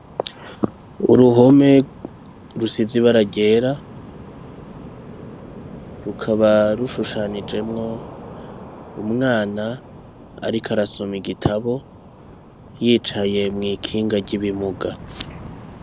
Uruhome rusize ibara ryera rukaba rushushanijemwo umwana ariko arasoma igitabo yicaye mw'ikinga ry'ibimuga.